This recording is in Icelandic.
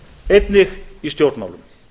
einnig í stjórnmálum